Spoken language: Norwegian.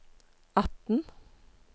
atten